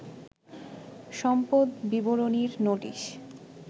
সম্পদ বিবরণীর নোটিস